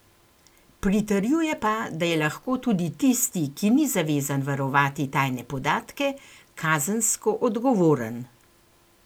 Pritrjuje pa, da je lahko tudi tisti, ki ni zavezan varovati tajne podatke, kazensko odgovoren.